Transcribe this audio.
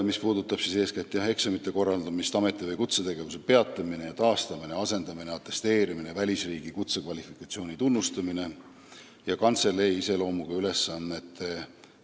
See puudutab eeskätt eksamite korraldamist, ameti- või kutsetegevuse peatamist ja taastamist, asendamist, atesteerimist, välisriigi kutsekvalifikatsiooni tunnustamist ja kantseleitöö iseloomuga tööülesannete täitmist.